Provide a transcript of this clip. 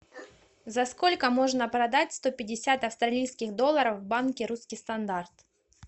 за сколько можно продать сто пятьдесят австралийских долларов в банке русский стандарт